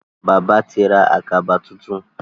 Bàbá tí ra Àkàbà títún.